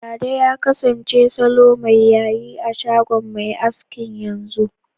Dada ya kasance salo mai yayi a shagon mai askin, yanzu.